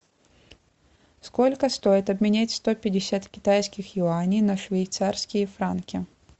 сколько стоит обменять сто пятьдесят китайских юаней на швейцарские франки